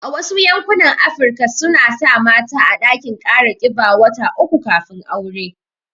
A Wasu yankunan Afirka suna sa mata a ɗakin kara kiba wata uku kafin aure